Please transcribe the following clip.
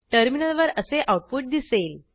टर्मिनलवर असे आऊटपुट दिसेल